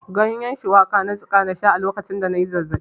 Ganyen shuwaka na jiƙa na sha a lokacin da na yi zazzaɓi.